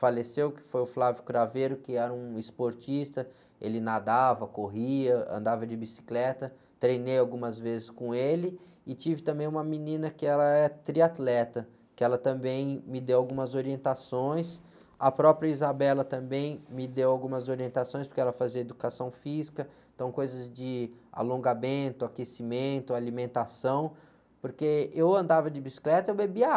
faleceu, que foi o, que era um esportista, ele nadava, corria, andava de bicicleta, treinei algumas vezes com ele, e tive também uma menina que ela era triatleta, que ela também me deu algumas orientações, a própria também me deu algumas orientações, porque ela fazia educação física, então coisas de alongamento, aquecimento, alimentação, porque eu andava de bicicleta e eu bebia água,